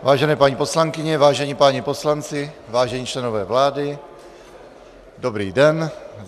Vážené paní poslankyně, vážení páni poslanci, vážení členové vlády, dobrý den.